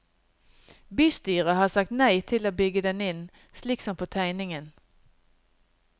Bystyret har sagt nei til å bygge den inn, slik som på tegningen.